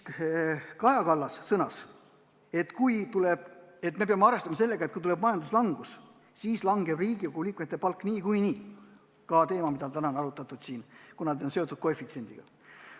Kaja Kallas sõnas, et me peame arvestama sellega, et kui tuleb majanduslangus, siis langeb Riigikogu liikmete palk niikuinii, kuna see on seotud teatud koefitsiendiga.